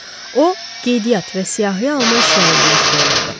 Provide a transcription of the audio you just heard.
O qeydiyyat və siyahıya alma işləri ilə məşğul olurdu.